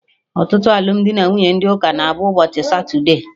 Ọtụtụ alụmdi na nwunye ndị ụka na-abụ ụbọchị satude